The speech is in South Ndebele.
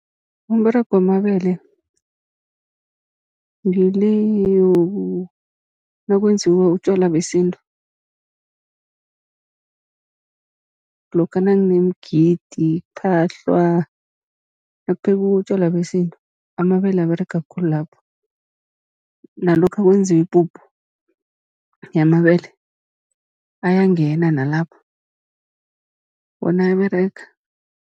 Umberego wamabele ngile nakwenziwa utjwala besintu, lokha nakunemigidi kuphahlwa, nakuphekwa utjwala besintu amabele aberega khulu lapho. Nalokha kwenziwa ipuphu yamabele, ayangena nalapho wona ayaberega.